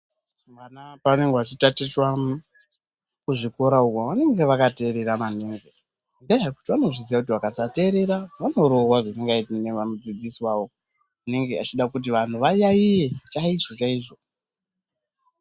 Vana pavanenge vachitatichwa kuzvikora uko vanonga vakateerera maningi nenyaya yekuti vanozviziva kuti kana vakasateerera vanorohwa zvisingaiti nana mudzidzisi wavo, vanenge vachida kuti vantu vayaiye chaizvo chaizvo.